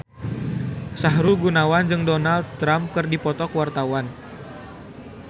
Sahrul Gunawan jeung Donald Trump keur dipoto ku wartawan